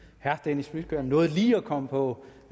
herre dennis flydtkjær nåede lige at komme på